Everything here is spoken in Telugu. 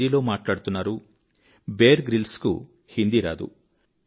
మీరు హిందీలో మాట్లాడుతున్నారు బియర్ గ్రిల్స్ కు హిందీరాదు